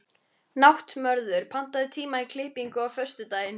Náttmörður, pantaðu tíma í klippingu á föstudaginn.